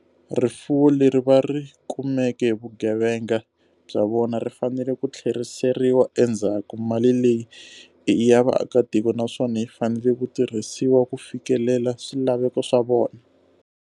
Rifuwo leri va ri kumeke hi vugevenga bya vona ri fanele ku tlheriseriwa endzhaku. Mali leyi i ya vaakatiko naswona yi fanele ku tirhisiwa ku fikelela swilaveko swa vona.